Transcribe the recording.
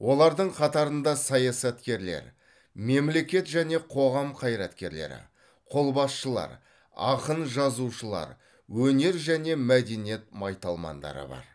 олардың қатарында саясаткерлер мемлекет және қоғам қайраткерлері қолбасшылар ақын жазушылар өнер және мәдениет майталмандары бар